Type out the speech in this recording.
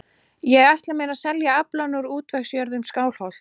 Ég ætla mér að selja aflann frá útvegsjörðum Skálholts.